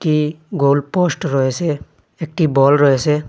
ই goalpost রয়েসে একটি ball রয়েসে।